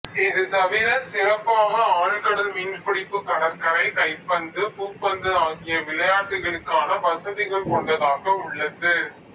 இது தவிர சிறப்பாக ஆழ்கடல் மீன்பிடிப்பு கடற்கரை கைப்பந்து பூப்பந்து ஆகிய விளையாட்டுகளுக்கான வசதிகள் கொண்டதாக உள்ளது